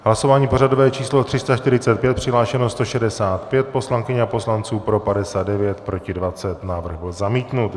Hlasování pořadové číslo 345, přihlášeno 165 poslankyň a poslanců, pro 59, proti 20, návrh byl zamítnut.